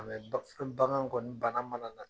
A ni bagan kɔni banna mana na